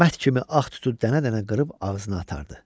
Mərt kimi ağ tutu dənə-dənə qırıb ağzına atardı.